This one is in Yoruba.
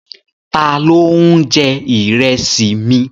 Ta ló ń jẹ Ìrẹ́sì mi?